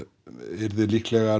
yrði líklega